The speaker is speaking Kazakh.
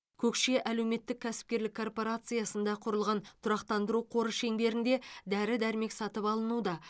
көкше әлеуметтік кәсіперлік корпорациясында құрылған тұрақтандыру қоры шеңберінде дәрі дәрмек сатып алынуда